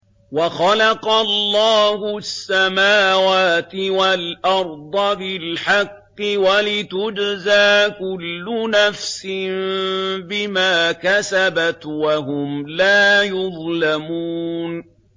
وَخَلَقَ اللَّهُ السَّمَاوَاتِ وَالْأَرْضَ بِالْحَقِّ وَلِتُجْزَىٰ كُلُّ نَفْسٍ بِمَا كَسَبَتْ وَهُمْ لَا يُظْلَمُونَ